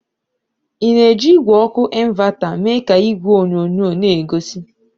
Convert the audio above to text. Ị na-eji igwe ọkụ ịnvata mee ka igwe onyonyo n'egosi?